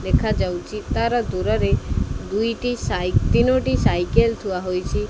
ଦେଖାଯାଉଚି ତାର ଦୂରରେ ଦୁଇଟି ସାଇ ତିନୋଟି ସାଇକେଲ ଥୁଆ ହୋଇଚି ।